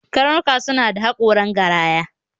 Karnuka suna da haƙoran garaya